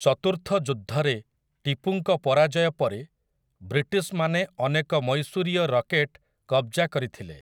ଚତୁର୍ଥ ଯୁଦ୍ଧରେ ଟିପୁଙ୍କ ପରାଜୟ ପରେ ବ୍ରିଟିଶ୍‌ମାନେ ଅନେକ ମୈଶୂରୀୟ ରକେଟ୍ କବ୍‌ଜା କରିଥିଲେ ।